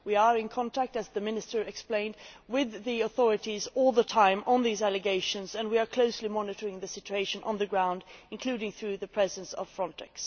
We are in contact, as the Minister explained, with the authorities all the time regarding these allegations, and we are closely monitoring the situation on the ground, including through the presence of Frontex.